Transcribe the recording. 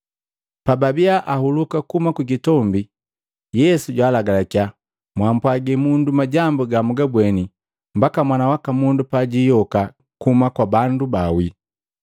Pababia ahuluka kuhuma kukitombi, Yesu jwaalagalakiya, “Mwampwagi mundu majambu ga mugabweni mbaka Mwana waka Mundu pajwiiyoka kuhuma kwa bandu baawii.”